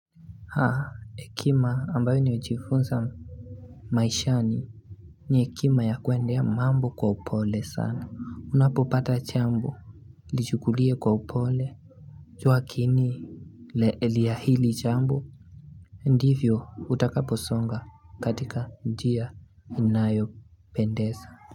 Haa hekima ambayo nimejifunza maishani ni hekima ya kuendea mambo kwa upole sana unapopata jambu Lichukulie kwa upole. Kuwakini le elia hili jambo Ndivyo utakaposonga katika njia inayopendeza.